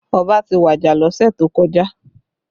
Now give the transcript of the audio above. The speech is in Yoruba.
Ọba ti waja lọ́sẹ̀ tó kọjá